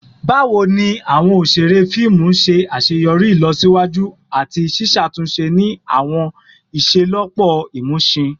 Bawo ni awọn oṣere fiimu ṣe aṣeyọri ilosiwaju ati ṣiṣatunṣe ni awọn iṣelọpọ imusin?